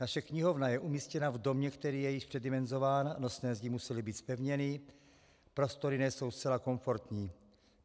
Naše knihovna je umístěna v domě, který je již předimenzován, nosné zdi musely být zpevněny, prostory nejsou zcela komfortní.